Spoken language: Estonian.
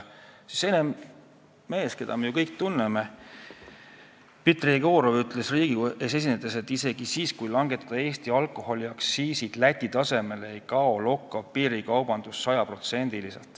Mees, keda me kõik tunneme, Dmitri Jegorov, ütles Riigikogu ees esinedes, et isegi siis, kui Eesti alkoholiaktsiisid Läti tasemele langetada, ei kao lokkav piirikaubandus sada protsenti.